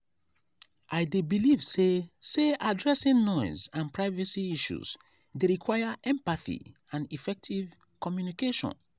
i dey believe say say addressing noise and privacy issues dey require empathy and effective communication.